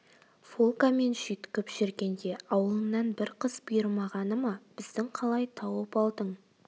волгамен жүйткіп жүргенде ауылыңнан бір қыз бұйырмағаны ма біздің қалай тауып алдың